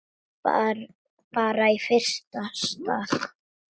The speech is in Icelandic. Bara fyrst í stað.